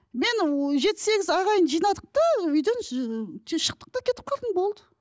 мен ыыы жеті сегіз ағайын жинадық та үйден тез шықтық та кетіп қалдым болды